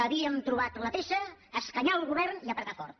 havíem trobat la peça escanyar el govern i apretar fort